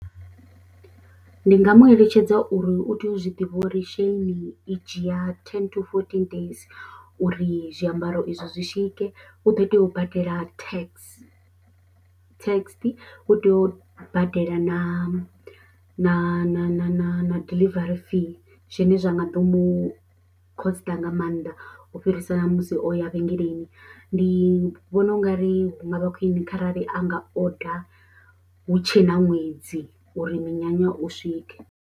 Ndi nga mu eletshedza uri u tea u zwi ḓivha uri Shein i dzhiya ten to fourteen days uri zwiambaro izwo zwi swike u ḓo tea u badela tax, tax u tea u badela na na na na na diḽivare fee zwine zwa nga ḓo mu khosiṱa nga maanḓa u fhirisa na musi o ya vhengeleni, ndi vhona u nga ri hu nga vha khwine kharali a nga order hu tshe na ṅwedzi uri minyanya u swike.